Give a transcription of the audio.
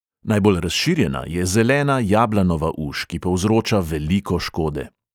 Najbolj razširjena je zelena jablanova uš, ki povzroča veliko škode.